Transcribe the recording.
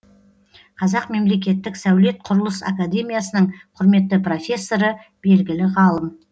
қазақ мемлекеттік сәулет құрылыс академиясының құрметті профессоры белгілі ғалым